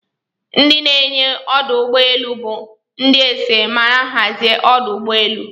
Ndi nyewe ọdụ ụgbọ elu bu ndi ese ma hazia ọdụ ụgbọ elu.